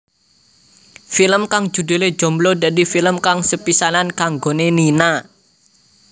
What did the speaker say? Film kang judhulé Jomblo dadi film kang sepisanan kanggoné Nina